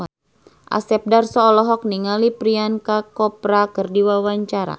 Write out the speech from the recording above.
Asep Darso olohok ningali Priyanka Chopra keur diwawancara